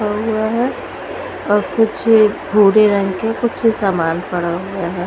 और कुछ भूरे रंग के कुछ सामान पड़ा हुआ है।